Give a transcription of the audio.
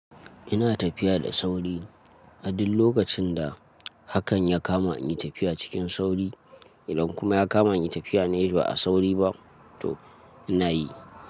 Ina tafiya da sauri a duk lokacin da hakan ya kama in yi tafiya cikin sauri. Idan kuma ya kama in yi tafiya ne ba a sauri ba to ina yi.